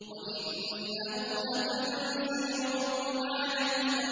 وَإِنَّهُ لَتَنزِيلُ رَبِّ الْعَالَمِينَ